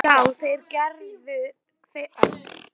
Já, þeir gerðu það og hann ætlaði að koma.